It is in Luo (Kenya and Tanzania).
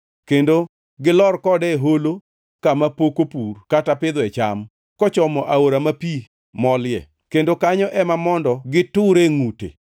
kendo gilor kode e holo kama pok opur kata pidhoe cham, kochomo aora ma pi molie, kendo kanyo ema mondo giture ngʼute.